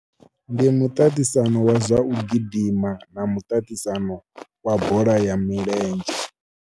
Ndi muṱaṱisano wa zwa u gidima na muṱaṱisano wa bola ya milenzhe.